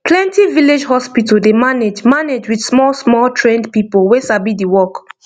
plenty village hospital dey manage manage with smallsmall trained people wey sabi the work